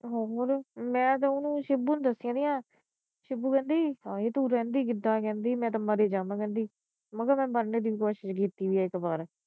ਮੈ ਤਾ ਓਹਨੂੰ ਛਿੱਬੂ ਨੂੰ ਦੱਸਣੀ ਆ। ਛਿੱਬੂ ਕਹਿੰਦੀ ਹਾਏ ਤੂੰ ਰਹਿੰਦੀ ਕਿਦਾਂ ਕਹਿੰਦੀ ਮੈ ਤਾ ਮਰ ਈ ਜਾਵਾ ਕਹਿੰਦੀ ਮੈ ਕਿਹਾ ਮੈ ਮਰਨੇ ਦੀ ਕੋਸ਼ਿਸ਼ ਕੀਤੀ ਇਕ ਬਾਰ